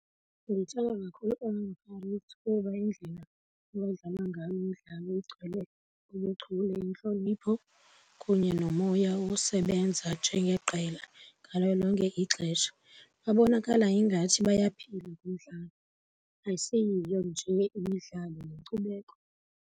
Ndithanda kakhulu iOrlando Pirates kuba indlela abadlala ngayo imidlalo igcwele ubuchule, intlonipho kunye nomoya wosebenza njengeqela ngalo lonke ixesha. Babonakala ingathi bayaphila kumdlalo, ayiseyiyo nje imidlalo yinkcubeko.